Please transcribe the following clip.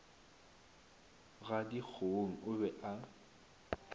ga dikgong o be a